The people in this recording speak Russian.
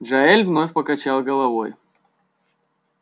джаэль вновь покачал головой